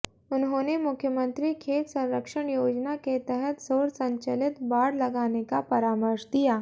उन्होंने मुख्यमंत्री खेत संरक्षण योजना के तहत सौर संचलित बाड़ लगाने का परामर्श दिया